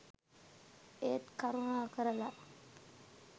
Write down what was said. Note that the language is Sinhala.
ඒත් කරුණාකරලා